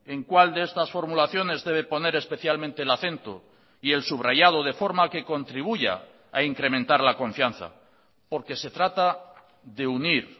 en cuál de estas formulaciones debe poner especialmente el acento y el subrayado de forma que contribuya a incrementar la confianza porque se trata de unir